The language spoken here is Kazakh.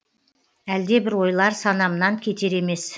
әлдебір ойлар санамнан кетер емес